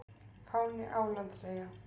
Fáni Álandseyja.